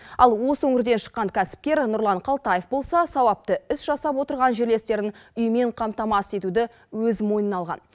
ал осы өңірден шыққан кәсіпкер нұрлан қалтаев болса сауапты іс жасап отырған жерлестерін үймен қамтамасыз етуді өз мойнына алған